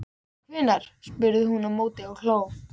Hvenær? spurði hún á móti og hló.